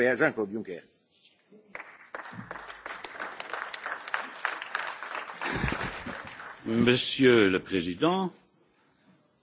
Monsieur le Président, merci d'avoir su, avec célérité, organiser la réunion d'aujourd'hui.